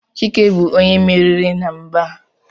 Chike bu onye mmeri na mgba a